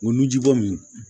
O nun ji bɔ min